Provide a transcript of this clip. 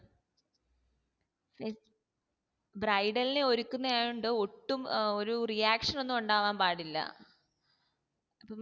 bridal നെ ഒരുക്കുന്നയൊണ്ട് ഒട്ടും അഹ് ഒരു reaction ഒന്നും ഉണ്ടാവാൻ പാടില്ല